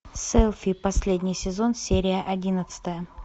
селфи последний сезон серия одиннадцатая